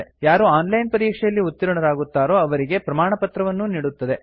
ಯಾರು online ಪರೀಕ್ಷೆಯಲ್ಲಿ ಉತ್ತೀರ್ಣರಾಗುತ್ತಾರೋ ಅವರಿಗೆ ಪ್ರಮಾಣಪತ್ರವನ್ನೂ ನೀಡುತ್ತದೆ